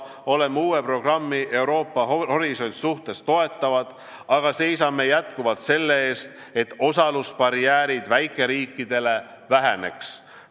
Toetame uut programmi "Euroopa horisont", aga seisame jätkuvalt selle eest, et väikeriikide osalusbarjäärid väheneksid.